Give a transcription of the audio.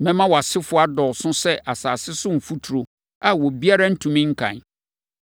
Mɛma wʼasefoɔ adɔɔso sɛ asase so mfuturo a obiara ntumi nkan.